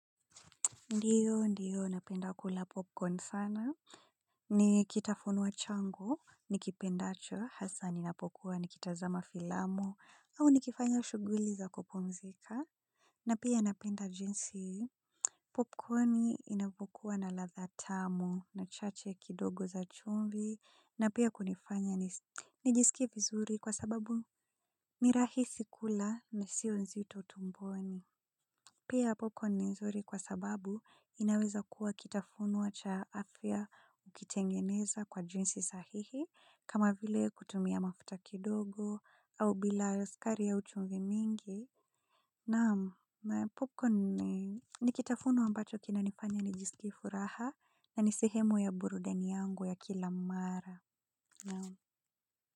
Ndiyo, ndiyo, napenda kula popcorn sana, ni kitafunwa changu, nikipendacho, hasa ninapokuwa, nikitazama filamu, au nikifanya shughuli za kupumzika, na pia napenda jinsi, popcorn inapokuwa na ladha tamu, na chachu kidogo za chumvi, na pia kunifanya, nijisikie vizuri kwasababu, ni rahisi kula na sio nzito tumboni. Pia popcorn ni nzuri kwa sababu inaweza kuwa kitafunwa cha afya ukitengeneza kwa jinsi sahihi kama vile kutumia mafuta kidogo au bila sukari au chumvi mingi. Naam, popcorn ni kitafunwa mbacho kinanifanya nijisikie furaha na ni sehemu ya burudani yangu ya kila mara.